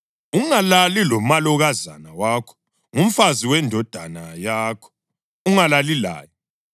Ungalali lomalokazana wakho, ngumfazi wendodana yakho; ungalali laye.